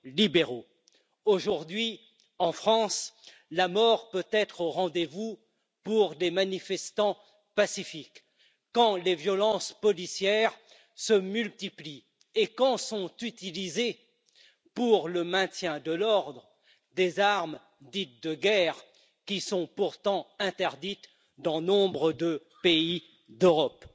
libéraux. Aujourd'hui, en France, la mort peut être au rendez vous pour des manifestants pacifiques, quand les violences policières se multiplient et quand elles sont utilisées pour le maintien de l'ordre des armes dites de guerre, qui sont pourtant interdites dans nombre de pays d'Europe.